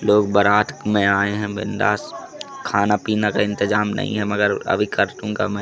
लोग बरात में आए है बिंदास खाना पीना का इंतजाम नहीं है मगर अभी कम है।